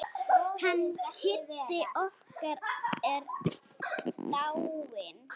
Hann Kiddi okkar er dáinn.